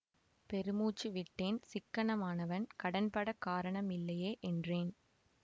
பெருமூச்சு விட்டேன் சிக்கனமானவன் கடன்படக் காரணம் இல்லையே என்றேன்